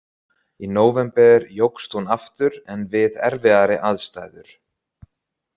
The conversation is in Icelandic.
Í nóvember jókst hún aftur en við erfiðari aðstæður.